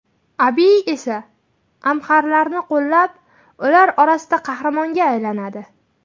Abiy esa amxarlarni qo‘llab, ular orasida qahramonga aylanadi.